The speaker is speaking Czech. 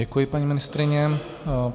Děkuji, paní ministryně.